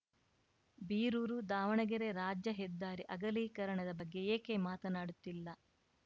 ಬೀರೂರುದಾವಣಗೆರೆ ರಾಜ್ಯ ಹೆದ್ದಾರಿ ಅಗಲೀಕರಣದ ಬಗ್ಗೆ ಏಕೆ ಮಾತನಾಡುತ್ತಿಲ್ಲ